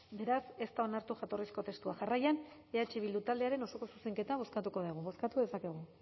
beraz ez da onartu jatorrizko testua jarraian eh bildu taldearen osoko zuzenketa bozkatuko dugu bozkatu dezakegu